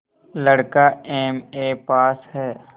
लड़का MA pass हैं